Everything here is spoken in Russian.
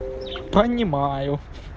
понимаю